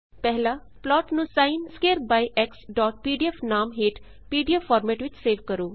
ਪਹਿਲਾ ਪਲਾਟ ਨੂੰ ਸਿਨ ਸਕੁਏਅਰ ਬਾਈ xਪੀਡੀਐਫ ਨਾਮ ਹੇਠ ਪੀਡੀਐਫ ਫਾਰਮੇਟ ਵਿੱਚ ਸੇਵ ਕਰੋ